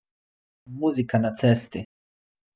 Muzika na cesti!